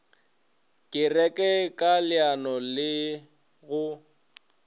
kereke ka leano la go